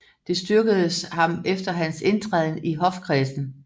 Det styrkedes ham efter hans indtræden i hofkredsen